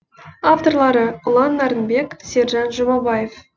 авторлары ұлан нарынбек сержан жұмабаев